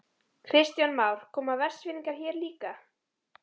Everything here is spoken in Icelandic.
Kristján Már: Koma Vestfirðingar hér líka?